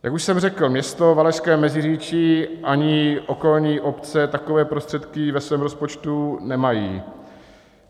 Jak už jsem řekl, město Valašské Meziříčí ani okolní obce takové prostředky ve svém rozpočtu nemají.